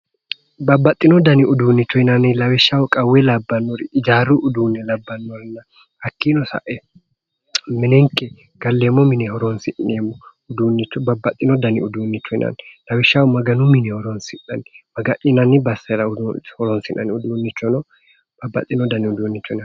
Babbaxino dani uduunnicho yinanniri lawishshaho qawe labannori hijaaru uduune labanorenna hakiino sae minenike galeemmo mine horoonsi'neemmo uduune uduunnichoho yinanni lawishshaho maganu mine horoonsi'nanni maga'ninanni basera horoonsi'nanni uduunnichono